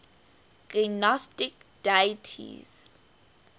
gnostic deities